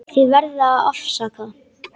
Þið verðið að afsaka.